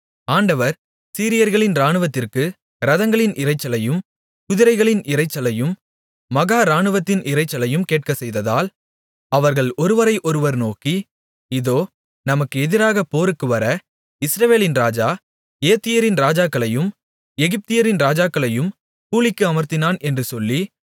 ஆண்டவர் சீரியர்களின் இராணுவத்திற்கு இரதங்களின் இரைச்சலையும் குதிரைகளின் இரைச்சலையும் மகா இராணுவத்தின் இரைச்சலையும் கேட்கச் செய்ததால் அவர்கள் ஒருவரை ஒருவர் நோக்கி இதோ நமக்கு எதிராகப் போருக்குவர இஸ்ரவேலின் ராஜா ஏத்தியரின் ராஜாக்களையும் எகிப்தியரின் ராஜாக்களையும் கூலிக்கு அமர்த்தினான் என்று சொல்லி